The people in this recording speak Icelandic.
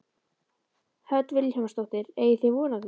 Hödd Vilhjálmsdóttir: Eigið þið von á því?